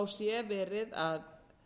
sé verið að